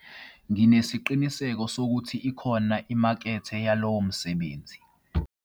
Nginesiqiniseko sokuthi ikhona imakethe yalowo msebenzi.